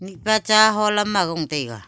mihpa cha holam agong taiga.